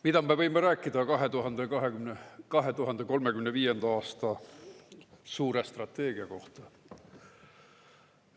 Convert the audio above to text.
Mida me võime rääkida 2035. aasta suure strateegia kohta?